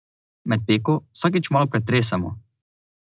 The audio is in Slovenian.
Med peko vsakič malo pretresemo.